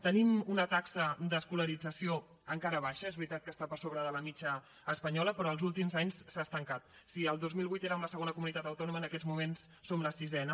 tenim una taxa d’escolarització encara baixa és veritat que està per sobre de la mitjana espanyola però els últims anys s’ha estancat si el dos mil vuit érem la segona comunitat autònoma en aquests moments som la sisena